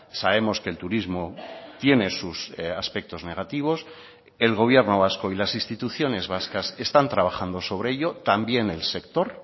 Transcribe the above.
sabemos que el turismo tiene sus aspectos negativos el gobierno vasco y las instituciones vascas están trabajando sobre ello también el sector